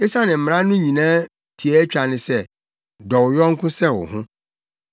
Efisɛ Mmara no nyinaa tiaatwa ne sɛ, “Dɔ wo yɔnko sɛ wo ho.”